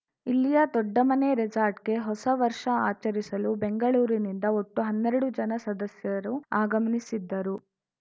ಇಲ್ಲಿಯ ದೊಡ್ಡಮನೆ ರೆಸಾರ್ಟ್‌ಗೆ ಹೊಸ ವರ್ಷ ಆಚರಿಸಲು ಬೆಂಗಳೂರಿನಿಂದ ಒಟ್ಟು ಹನ್ನೆರಡು ಜನ ಸದಸ್ಯರು ಆಗಮ್ನಿಸಿದ್ದರು